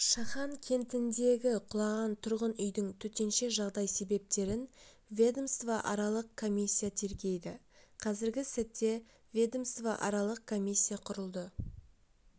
шахан кентіндегі құлаған тұрғын үйдің төтенше жағдай себептерін ведомствоаралық комиссия тергейді қазіргі сәтте ведомствоаралық комиссия құрылды